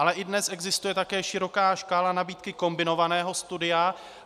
Ale i dnes existuje také široká škála nabídky kombinovaného studia.